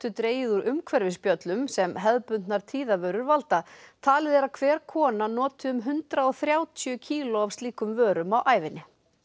dregið úr umhverfisspjöllum sem hefðbundnar valda talið er að hver kona noti um hundrað og þrjátíu kíló af slíkum vörum á ævinni